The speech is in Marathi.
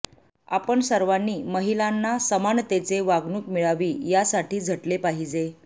आपण सर्वांनी महिलाना समानतेचे वागणूक मिळावी या साठी झटले पाहिजे